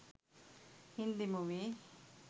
hindi movie